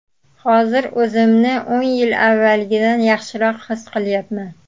Hozir o‘zimni o‘n yil avvalgidan yaxshiroq his qilyapman.